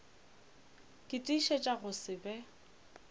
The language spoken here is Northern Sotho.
ke tiišetša go se be